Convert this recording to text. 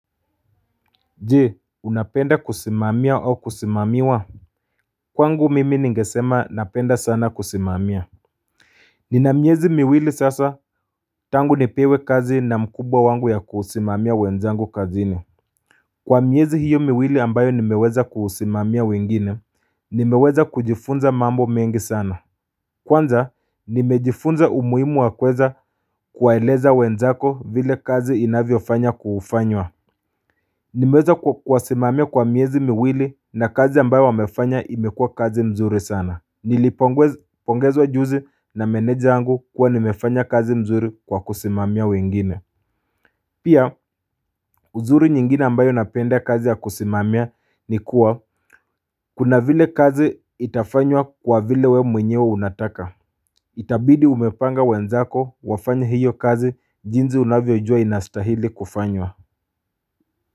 Je unapenda kusimamia au kusimamiwa Kwangu mimi ningesema napenda sana kusimamia Nina miezi miwili sasa tangu nipewe kazi na mkubwa wangu ya kusimamia wenzangu kazini Kwa miezi hiyo miwili ambayo nimeweza kusimamia wengine nimeweza kujifunza mambo mengi sana Kwanza nimejifunza umuhimu wa kuweza kuwaeleza wenzako vile kazi inavyofanya kufanywa Nimeweza kuwasimamia kwa miezi miwili na kazi ambayo wamefanya imekuwa kazi nzuri sana. Nilipongezwa juzi na meneja wangu kuwa nimefanya kazi nzuri kwa kusimamia wengine. Pia, uzuri nyingine ambayo napenda kazi ya kusimamia ni kuwa, kuna vile kazi itafanywa kwa vile wewe mwenyewe unataka. Itabidi umepanga wenzako wafanye hiyo kazi jinsi unavyojua inastahili kufanywa.